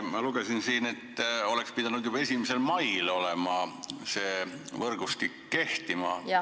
Ma lugesin siit, et juba 1. mail oleks pidanud see võrgustik kehtima.